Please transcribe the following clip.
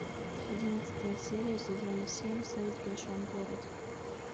одиннадцатая серия сезона семь секс в большом городе